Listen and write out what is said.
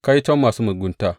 Kaiton masu mugunta!